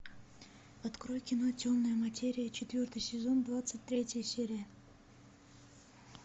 открой кино темная материя четвертый сезон двадцать третья серия